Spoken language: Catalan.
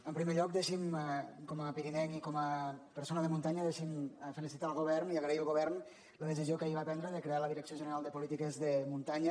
en primer lloc deixi’m com a pirinenc i com a persona de muntanya felicitar el govern i agrair al govern la decisió que ahir va prendre de crear la direcció general de polítiques de muntanya